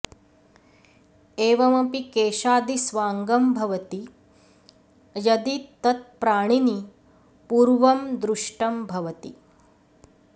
एवमपि केशादि स्वाङ्गं भवति यदि तत्प्राणिनि पूर्वं दृष्टं भवति